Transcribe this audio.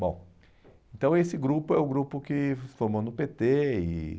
Bom, então esse grupo é o grupo que se formou no pê tê. E